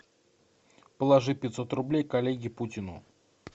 положи пятьсот рублей коллеге путину